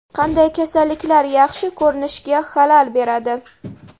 Qanday kasalliklar yaxshi ko‘rinishga xalal beradi?.